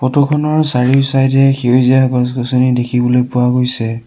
ফটোখনৰ চাৰিওচাইডে সেউজীয়া গছ-গছনি দেখিবলৈ পোৱা গৈছে।